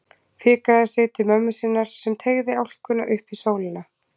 Fikraði sig til mömmu sinnar sem teygði álkuna upp í sólina.